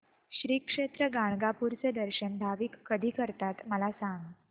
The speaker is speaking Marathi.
श्री क्षेत्र गाणगापूर चे दर्शन भाविक कधी करतात मला सांग